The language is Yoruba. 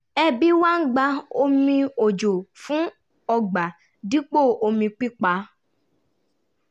ẹbí wa ń gba omi òjò fún ọgbà dipo omi pípà